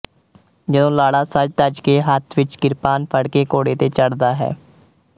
ਜਦੋਂ ਲਾੜਾ ਸਜ ਧਜ ਕੇ ਹੱਥ ਵਿੱਚ ਕਿਰਪਾਨ ਫੜ੍ਹ ਕੇ ਘੋੜੇ ਤੇ ਚੜ੍ਹਦਾ ਹੈ